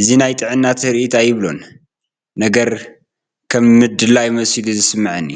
እዚ ናይ ጥዕና ትርኢት እዩ ኣይብሎን፡፡ ነገር ከም ምድላይ መሲሉ እዩ ዝስምዐኒ፡፡